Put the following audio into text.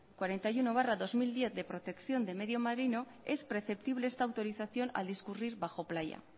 cuarenta y uno barra dos mil diez de protección de medio marino es perceptible esta autorización al discurrir bajo playa